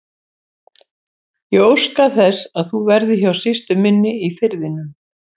Ég óska þess að þú verðir hjá systur minni í Firðinum.